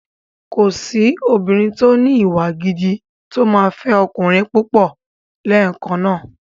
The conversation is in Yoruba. Kòsí obìnrin tó ní ìwà gidi tó máa fẹ́ ọkùnrin púpọ̀ lẹ́ẹ̀kan náà.